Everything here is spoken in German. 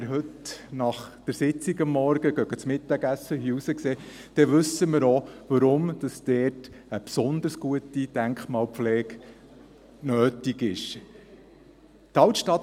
Wenn wir heute nach der Sitzung am Morgen zu Mittag essen gehen, wenn wir hier rausschauen, dann wissen wir auch, warum dort eine besonders gute Denkmalpflege nötig ist.